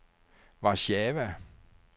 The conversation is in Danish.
Warszawa